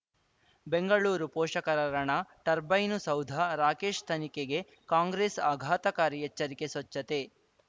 ಬೆಂಗಳೂರು ಪೋಷಕರಋಣ ಟರ್ಬೈನು ಸೌಧ ರಾಕೇಶ್ ತನಿಖೆಗೆ ಕಾಂಗ್ರೆಸ್ ಆಘಾತಕಾರಿ ಎಚ್ಚರಿಕೆ ಸ್ವಚ್ಛತೆ